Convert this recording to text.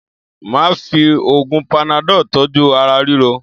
Máà fi oògùn panadọ́ọ̀ tọ́jú ara ríro